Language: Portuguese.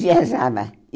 Viajava.